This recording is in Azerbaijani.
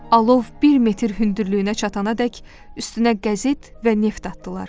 Alov bir metr hündürlüyünə çatanadək üstünə qəzet və neft atdılar.